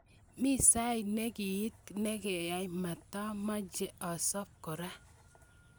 "mii sait nekiiit nekya matamache asob kora,"